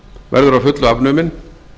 verður að fullu afnuminn